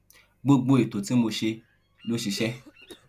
gbogbo ètò tí mo ṣe ló ṣiṣẹ